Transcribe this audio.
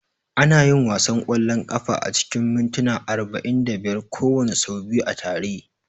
Ana yin wasan ƙwallon kafa acikin mintuna arba'in da biyar kowanne, sau biyu a tare.